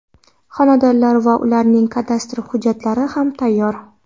Xonadonlar va ularning kadastr hujjatlari ham tayyor.